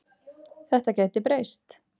Þetta gæti breyst.